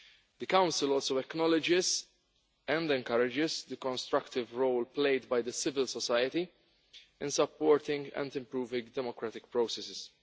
The Council also acknowledges and encourages the constructive role played by civil society in supporting and improving democratic processes.